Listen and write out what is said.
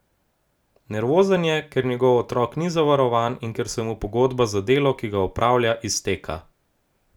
Nervozen je, ker njegov otrok ni zavarovan in ker se mu pogodba za delo, ki ga opravlja, izteka.